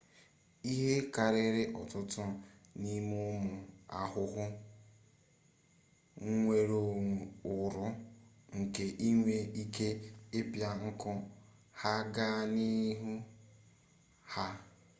ihe karịrị ọtụtụ n'ime ụmụ ahụhụ nwere uru nke inwe ike ịpịa nku ha gaa n'ahụ ha